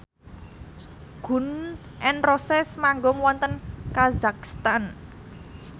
Gun n Roses manggung wonten kazakhstan